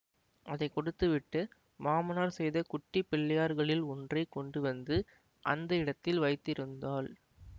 அதை கொடுத்துவிட்டு மாமனார் செய்த குட்டி பிள்ளையார்களில் ஒன்றை கொண்டு வந்து அந்த இடத்தில் வைத்திருந்தாள்